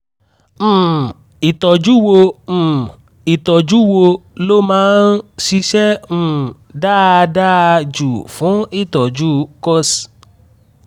um ìtọ́jú wo um ìtọ́jú wo ló máa ń ṣiṣẹ́ um dáadáa jù fún ìtọ́jú pcos